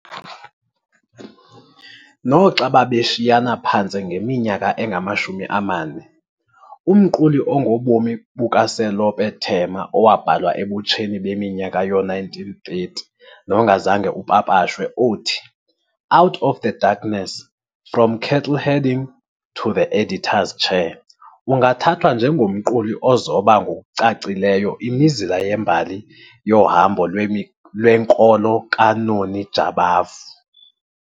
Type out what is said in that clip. Noxa babeshiyana phantse ngeminyaka engamashumi amane, umquli ongobomi bukaSelope Thema owabhalwa ebutsheni beminyaka yoo-1930 nongazange upapashwe othi- Out of Darkness- From Cattle-Herding to the Editor's Chair ungathathwa njengomquli ozoba ngokucacileyo imizila yembali yohambo lwenkolo kaNoni Jabavu.